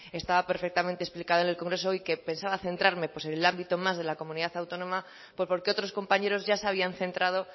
estaba perfectamente explicado en el congreso y que pensaba centrarme en el ámbito más de la comunidad autónoma porque otros compañeros ya se habían centrado